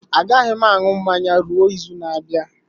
Agaghị m aṅụ mmanya ruo izu na-abịa.